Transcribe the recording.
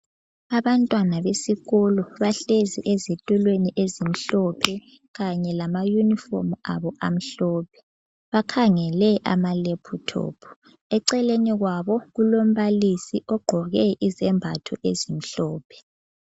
Abantwana besikolo bahlezi ezitulweni ezimhlophe kanye lamayunifomu abo amhlophe. Bakhangele amalephuthophu. Eceleni kwabo kulombalisi ogqoke izembatho ezimhlophe .